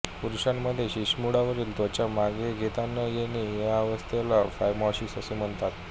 पुरुषांमध्ये शिश्नमुंडावरील त्त्वचा मागे घेता न येणे या अवस्थेला फायमॉसिस असे म्हणतात